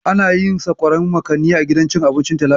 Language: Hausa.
Ana yin sakwarar makani a gidan cin abinci Talalatu.